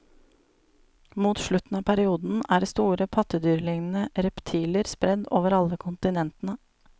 Mot slutten av perioden er store pattedyrlignende reptiler spredd over alle kontinentene.